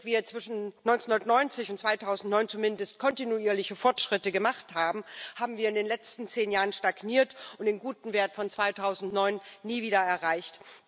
Während wir zwischen 1990 und 2009 zumindest kontinuierliche Fortschritte gemacht haben, haben wir in den letzten zehn Jahren stagniert und den guten Wert von 2009 nie wieder erreicht.